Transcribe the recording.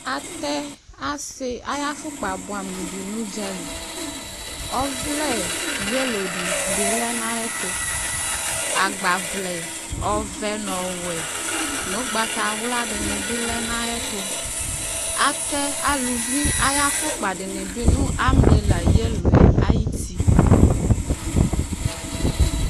Atɛ ase aya fokpa buamu de no udzali Ɔvlɛ yelo de be lɛ na ayeto Agbavlɛ ɔvɛ no ɔwɛ no ugbatawla de ne lɛ na ayetoAtɛ aluvi afokpa de ne be no ambrela yeloe ayiti